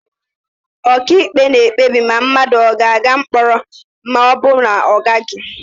Ọkàikpe na-ekpebi ma mmadụ ogaaga mkpọrọ ma ọ bụ na ọ gaghị.